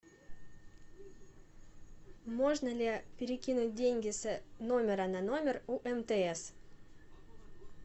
можно ли перекинуть деньги с номера на номер у мтс